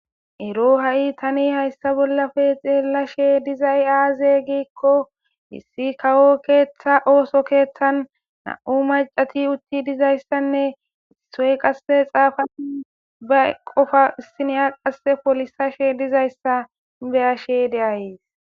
ero ha7i tani hayssa bollafe xeella she dizay aaze giikko hissi kawo keeththa ooso keeththan na7u macati utti dizayssanne issoy qasse xaafa ba qofa issineya qasse polisashe dizayssa beyashde deayees